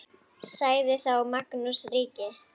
Sagði þá Magnús ríki: